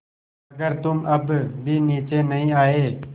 अगर तुम अब भी नीचे नहीं आये